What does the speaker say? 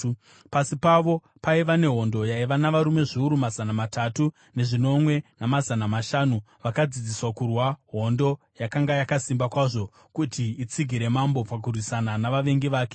Pasi pavo paiva nehondo yaiva navarume zviuru mazana matatu nezvinomwe namazana mashanu, vakadzidziswa kurwa, hondo yakanga yakasimba kwazvo kuti itsigire mambo pakurwisana navavengi vake.